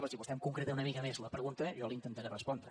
si vostè em concreta una mica més la pregunta jo la hi intentaré respondre